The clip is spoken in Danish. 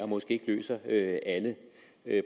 måske ikke løser alle